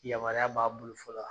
Yamaruya b'a bolo fɔlɔ a?